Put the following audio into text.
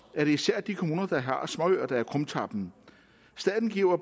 er det især de kommuner der har småøer der er krumtappen staten giver